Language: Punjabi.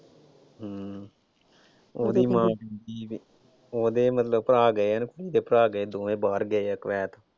ਹਮ ਉਹਦੀ ਮਾਂ ਉਹਦੇ ਮਤਲਬ ਭਰਾ ਗਏ ਆ ਨਾ ਕੁੜੀ ਦੇ ਭਰਾ ਗਏ ਦੋਵੇਂ ਬਾਹਰ ਗਏ ਆ ਕੁਬੇਤ ਚ।